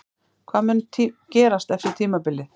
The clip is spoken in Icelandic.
Hvað mun gerast eftir tímabilið?